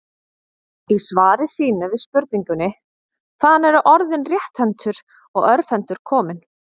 Í svari sínu við spurningunni Hvaðan eru orðin rétthentur og örvhentur komin?